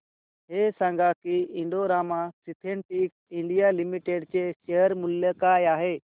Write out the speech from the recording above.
हे सांगा की Indo Rama synthetics India limited चे शेअर मूल्य काय आहे